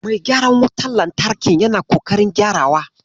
Mai gyaran wutar lantarkin yana ƙoƙarin gyarawa.